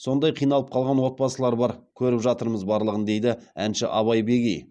сондай қиналып қалған отбасылар бар көріп жатырмыз барлығын дейді әнші абай бегей